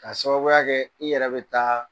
K'a sababuya kɛ i yɛrɛ be taa